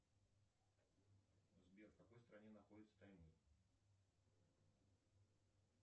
сбер в какой стране находится таймыр